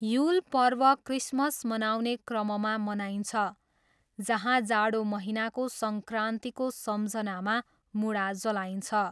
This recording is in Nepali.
युल पर्व क्रिसमस मनाउने क्रममा मनाइन्छ जहाँ जाडो महिनाको सङ्क्रान्तिको सम्झनामा मुडा जलाइन्छ।